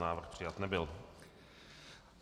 Návrh přijat nebyl.